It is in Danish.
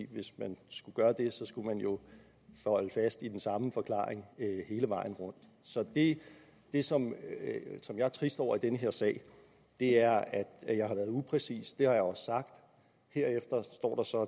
hvis man skulle gøre det skulle man jo holde fast i den samme forklaring hele vejen rundt så det som jeg er trist over i den her sag er at jeg har været upræcis det har jeg også sagt herefter står så